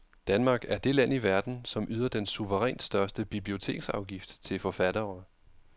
Danmark er det land i verden, som yder den suverænt største biblioteksafgift til forfattere.